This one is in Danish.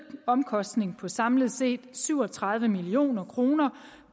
omkostning på samlet set syv og tredive million kroner